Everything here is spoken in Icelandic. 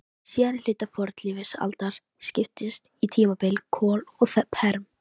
Síðari hluti fornlífsaldar skiptist í tímabilin kol og perm.